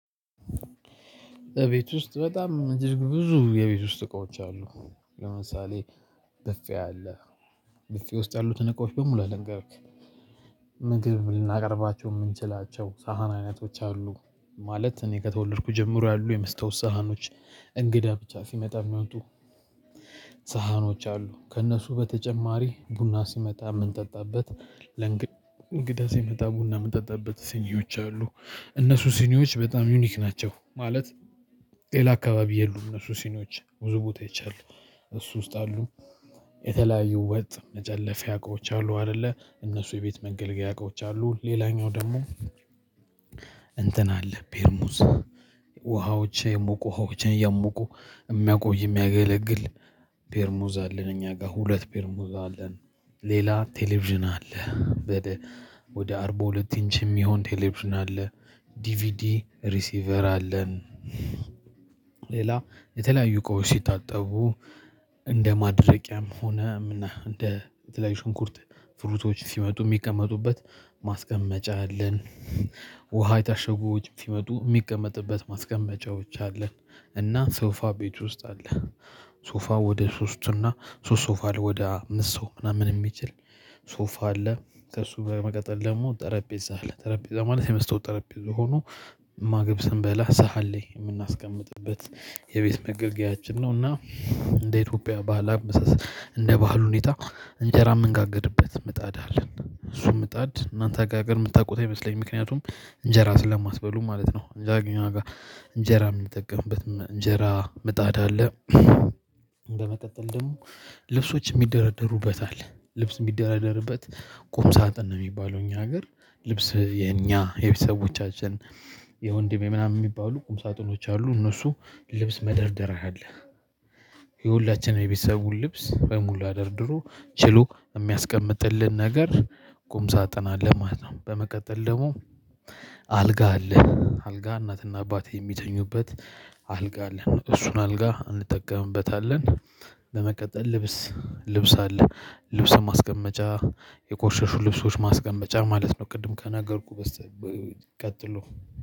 ቤት ውስጥ በጣም እጅግ ብዙ የቤት ውስጥ እቃዎች አሉ። ለምሳሌ ብፌ አለ። ብፌ ውስጥ ያሉትን እቃዎች በሙላ ልንገርክ። ምግብ ልናቀርባቸው የምንችላቸው ሳህን አይነቶች አሉ። ማለት እኔ ከተወለድኩ ጀምሮ ያሉ የመስታወት ሳህኖች። እንግዳ ብቻ ሲመጣ የሚወጡ። ሳህኖች አሉ ከእነሱ በተጨማሪ ቡና ሲመጣ የምንጠጣበት ለእንግዳ ሲመጣ ቡና የምጠጣበት ሲኒዎች አሉ። እነሱ ሲኒዎች በጣም ዩኒክ ናቸው ማለት። ሌላ አካባቢ የሉም እነሱ ሲኒዎች ብዙ ቦታ አይቻለው። እሱ ውስጥ አሉ። የተለያዩ ወጥ መጨለፊያ አውቃዎች አሉ አይደለ እነሱ የቤት መገልገያ አቃዎች አሉ። ሌላኛው ደግሞ እንትን አለ ፔርሙዝ። ውሃዎች የሞቁ ውሃዎችን እያሞቁ የሚያቆይ የሚያገለግል ፔርሞዝ አለን እኛ ጋር ሁለት ፔርሞዝ አለን። ሌላ ቴሌቪዥን አለ። ወደ አርባ ሁለት ኢንች የሚሆን ቴሌቭዥን አለ። ዲቪዲ ሪሲቨር አለን። ሌላ የተለያዩ እቃዎች ሲታጠቡ እንደ ማድረቂያም ሆነ እና እንደ ተለያዩ ሽንኩርት ፍሩቶች ሲመጡ የሚቀመጡበት ማስቀመጫ። አለን የታሸጉዎች ሲመጡ የሚቀመጥበት ማስቀመጫዎች አለ። እና ሶፋ ቤት ውስጥ አለ። ሶፋ ወደ ሶስትና ሶስት ሶፋ ላይ ወደ አምስት ሰው ምናምን የሚችል ሶፋ አለ። ከሱ በመቀጠል ደግሞ ጠረጴዛ አለ ጠረጴዛ ማለት የመስተወት ጠረጴዛ ሆኖ ማግብ ስንበላ ሰሃን ላይ የምናስቀምጥበት የቤት መገልገያችን ነው። እና እንደ ኢትዮጵያ ባህል አመሳስ እንደ ባህሉ ሁኔታ እንጀራ የምንጋግርበት ምጣድ አለን እሱም ምጣድ እናንተ ጋር ጋር የምታውቁት አይመስለኝም። ምክንያቱም እንጀራ ስለማትበሉም ማለት ነው። እንጀራ የምንጠቀምበት እንጀራ ምጣዳ አለ። በመቀጠል ደግሞ ልብሶች የሚደረደሩበት አለ ልብስ የሚደረደርበት ቁም ሳጥን ነው። የሚባለው እኛ ሀገር ልብስ የኛ የቤተሰቦቻችን የወንድሜ ምናምን የሚባሉ ቁም ሳጥኖች አሉ። እነሱ ልብስ መደርደር ያህል የሁላችንም የቤተሰቡን ልብስ በሙላ ደርድሮ ችሎ የሚያስቀምጥልን ነገር ቁም ሳጥን አለ ማለት ነው። በመቀጠል ደግሞ አልጋ አለ አልጋ እናትና አባቴ የሚተኙበት አልጋ አለን። እሱን አልጋ እንጠቀምበታለን። በመቀጠል ልብስ ልብስ አለ ልብስ ማስቀመጫ የቆሸሹ ልብሶች ማስቀመጫ ማለት ነው። ቅድም ከነገርኩህ በስተ ቀጥሎ